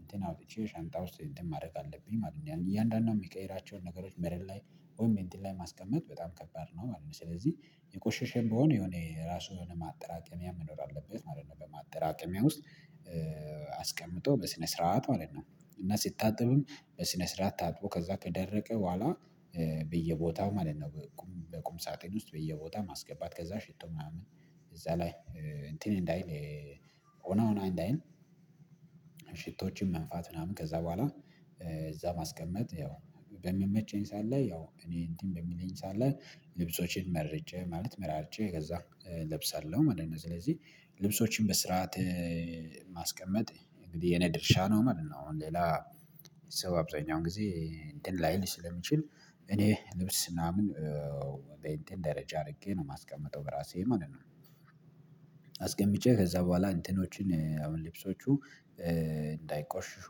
እንትን አውጥቼ ሻንጣ ውስጥ እንትን ማድረግ አለብኝ ማለት ነው። እያንዳንዱን ሚቀይራቸውን ነገሮች መሬት ላይ ወይም እንትን ላይ ማስቀመጥ በጣም ከባድ ነው ማለት ነው። ስለዚህ የቆሸሸም ብሆን የሆነ የራሱ የሆነ ማጠራቀሚያ መኖር አለበት ማለት ነው። በማጠራቀሚያ ውስጥ አስቀምጦ በስነ ስርዓት ማለት ነው። እና ስታጠብም በስነ ስርዓት ታጥቦ ከዛ ከደረቀ በኋላ በየቦታው ማለት ነው። በቁም ሳጥን ውስጥ በየቦታ ማስገባት ከዛ ሽቶ ምናምን እዛ ላይ እንትን እንዳይል ወና ወና እንዳይል። ሽቶችን መንፋት ምናምን ከዛ በኋላ እዛ ማስቀመጥ ያው በምመቸኝ ስዓት ላይ ያው እኔ እንትን በሚለኝ ስዓት ላይ ልብሶቼን መርጬ ማለት መራርጨ ከዛ እለብሳለሁ ማለት ነው። ስለዚህ ልብሶችን በስርዓት ማስቀመጥ እንግዲህ የኔ ድርሻ ነው ማለት ነው። አሁን ሌላ ሰው አብዛኛውን ጊዜ እንትን ላይል ስለሚችል እኔ ልብስ ምናምን በእንትን ደረጃ አድርጌ ነው ማስቀምጠው በራሴ ማለት ነው። አስቀምጬ ከዛ በኋላ እንትኖችን አሁን ልብሶቹ እንዳይቆሽሹ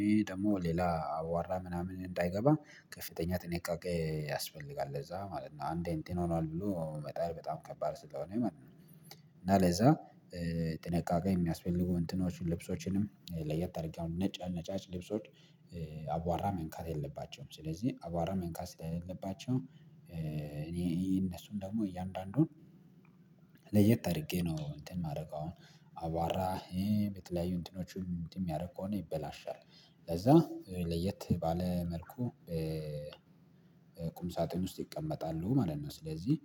ይሄ ደግሞ ሌላ አዋራ ምናምን እንዳይገባ ከፍተኛ ጥንቃቄ ያስፈልጋል ለዛ ማለት ነው። አንዴ እንትን ሆኗል ብሎ መጣል በጣም ከባድ ስለሆነ ማለት። እና ለዛ ጥንቃቄ የሚያስፈልጉ እንትኖችን ልብሶችንም ለየት አርገ አሆን ነጭ ነጫጭ ልብሶች አቧራ መንካት የለባቸውም። ስለዚህ አቧራ መንካት ሲለ የለባቸውም። እኔ እነሱን ደግሞ እያንዳንዱን ለየት አድርጌ ነው እንትን ማድረግ አሁን አቧራ የተለያዩ እንትኖችን እንትን ሚያደርግ ከሆነ ይበላሻል። ለዛ ለየት ባለ መልኩ ቁም ሳጥን ውስጥ ይቀመጣሉ ማለት ነው። ስለዚህ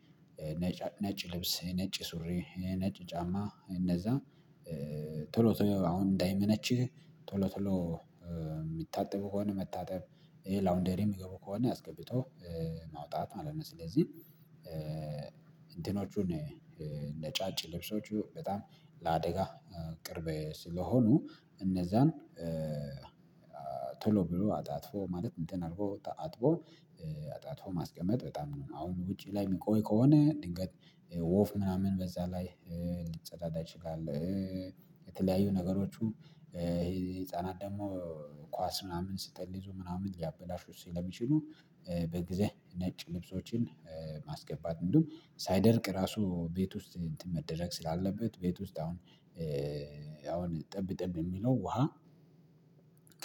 ነጭ ልብስ ነጭ ሱሪ ነጭ ጫማ እነዛ ቶሎ ቶሎ አሁን እንዳይመነችህ ቶሎ ቶሎ የሚታጠቡ ከሆነ መታጠብ ላውንደሪ ሚገቡ ከሆነ አስገብቶ ማውጣት ማለት ነው። ስለዚህ እንትኖቹን ነጫጭ ልብሶቹ በጣም ለአደጋ ቅርብ ስለሆኑ እነዛን ቶሎ ብሎ አጣጥፎ ማለት እንትን አርጎ አጥቦ አጣጥፎ ማስቀመጥ በጣም ነው አሁን ውጪ ላይ ሚቆይ ከሆነ ድንገት ወፍ ምናምን በዛ ላይ ልጸዳዳ ይችላል። የተለያዩ ነገሮቹ ይሄ ህፃናት ደግሞ ኳስ ምናምን ስጠልዙ ምናምን ያበላሹ ስለሚችሉ በጊዜ ነጭ ልብሶችን ማስገባት እንደውም ሳይደርቅ ራሱ ቤት ውስጥ እንትን መደረግ ስላለበት። ቤት ውስጥ አሁን አሁን ጠብ ጠብ የሚለው ውሃ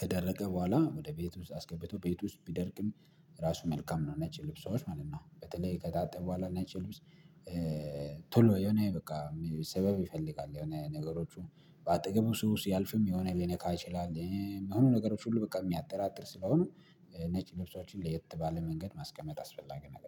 ከደረገ በኋላ ወደ ቤት ውስጥ አስገብቶ ቤት ውስጥ ቢደርቅም ራሱ መልካም ነው። ነጭ ልብሳዎች ማለት ነው። በተለይ ከጣታጠበ በኋላ ነጭ ልብስ ቶሎ የሆነ በቃ ሰበብ ይፈልጋል የሆነ ነገሮቹ በአጠገቡ ሰው ስያልፍም የሆነ ሊነካ ይችላል ሚሆኑ ነገሮች ሁሉ በቃ ሚያጠራጥር ስለሆኑ። ነጭ ልብሶችን ለየት ባለ መንገድ ማስቀመጥ አስፈላጊ ነገር